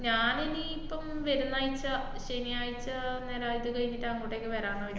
ഞാനിനി ഇപ്പം വെരുന്നാഴ്ച്ച, ശനിയാഴ്ച ഞാനതൊക്കെ കയിഞ്ഞിട്ട് അങ്ങോട്ടേക്ക് വെരാന്നാ വിചാ~